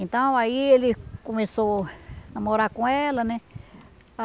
Então, aí ele começou a namorar com ela, né?